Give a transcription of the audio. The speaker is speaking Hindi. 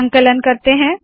संकलन करते है